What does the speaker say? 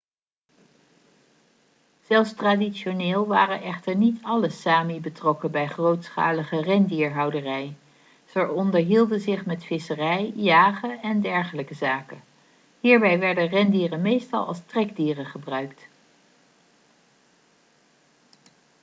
zelfs traditioneel waren echter niet alle sámi betrokken bij grootschalige rendierhouderij. zij onderhielden zich met visserij jagen en dergelijke zaken. hierbij werden rendieren meestal als trekdieren gebruikt